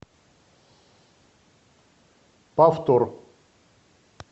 повтор